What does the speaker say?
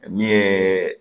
Min ye